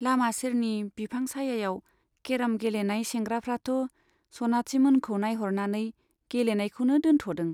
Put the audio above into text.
लामा सेरनि बिफां सायायाव केर'म गेलेनाय सेंग्राफ्राथ' सनाथिमोनखौ नाइह'रनानै गेलेनायखौनो दोनथ'दों।